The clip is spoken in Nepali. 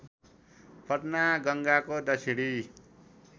पटना गङ्गाको दक्षिणी